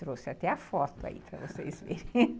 Trouxe até a foto aí para vocês verem.